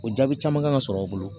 O jaabi caman kan ka sɔrɔ u bolo